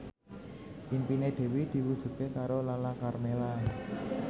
impine Dewi diwujudke karo Lala Karmela